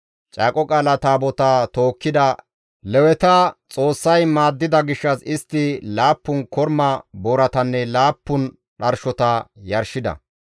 Caaqo Qaala Taabotaa tookkida Leweta Xoossay maaddida gishshas istti laappun korma booratanne laappun dharshota yarshida.